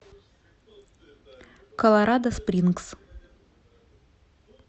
колорадо спрингс